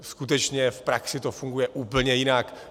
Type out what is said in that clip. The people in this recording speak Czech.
Skutečně v praxi to funguje úplně jinak.